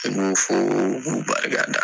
N b'u fo k'u barika da.